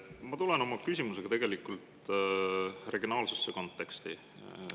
Ma tulen oma küsimusega regionaalsesse konteksti.